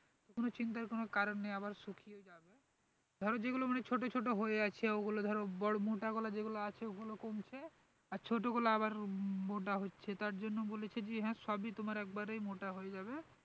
কোনো চিন্তার কোনো কারণ নেই আবার শুকিয়ে যাবে ধরো যেগুলো অনেক ছোটো ছোটো হয়ে আছে ওগুলো ধরো বড়ো মোটা গুলো যেগুলো আছে ওগুলো কমছে আর ছোটগুলো আবার মোটা হচ্ছে তার জন্য বলেছে যে হ্যাঁ সবই তোমার একবার মোটা হয়ে যাবে